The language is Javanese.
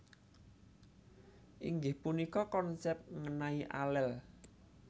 Inggih punika konsèp ngènai alel